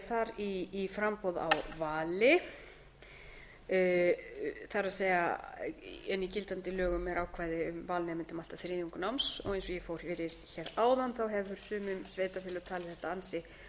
þar í framboð á vali en í gildandi lögum er ákvæði um val nemenda um allt að þriðjung náms og eins og ég fór yfir hér áðan hafa sum sveitarfélög talið þetta ansi